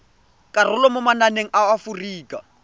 karolo mo mananeng a aforika